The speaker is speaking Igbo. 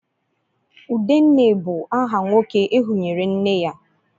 Udenne bu aha nwoke ehunyere nne ya